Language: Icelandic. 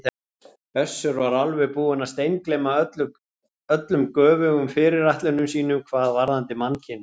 Össur var alveg búinn að steingleyma öllum göfugum fyrirætlunum sínum hvað varðaði mannkynið.